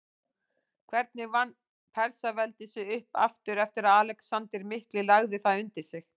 Hvernig vann Persaveldi sig upp aftur eftir að Alexander mikli lagði það undir sig?